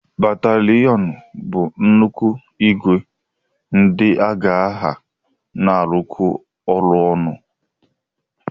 Bataliyonu bụ nnukwu ìgwè ndị agha na-arụkọ ọrụ ọnụ.